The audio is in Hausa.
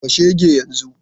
Harba shege yanzu!